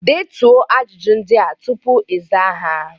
Detuo ajụjụ ndị a tupu ịza ha